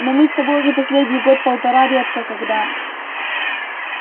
но мы с тобой уже последний год полтора редко когда